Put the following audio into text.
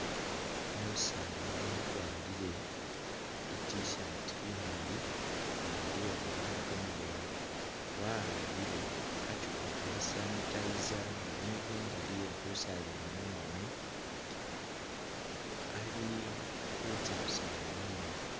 Umusaani wakwarire I'T-shirt nga ili iye kamakhono kamaleeyi wa'ambile khachupa kha sanitizer namwe indali ye khusabila mungoono, ali khutsya khusaaba mungoono.